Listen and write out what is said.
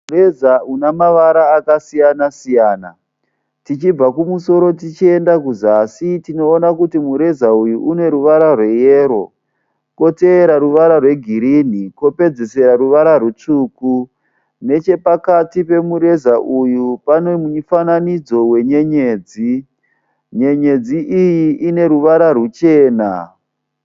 Mureza une mavara akasiyana siyana. Tichibva kumusoro tichienda kuzasi tinoona kuti mureza uyu une neruvara rweyero kwotevera ruvara rwegirinhi kwopedzisira ruvara rutsvuku. Nechepakati pemureza uyu pane mufananidzo wenyenyedzi. Nyenyedzi iyi ine ruvara rwuchena.